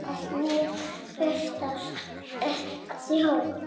Hann snýr burst að sjó.